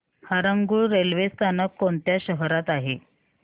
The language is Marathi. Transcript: हरंगुळ रेल्वे स्थानक कोणत्या शहरात आहे